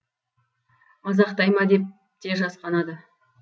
мазақтай ма деп те жасқанады